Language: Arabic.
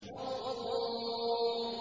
وَالطُّورِ